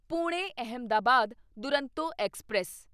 Pune Ahmedabad Duronto express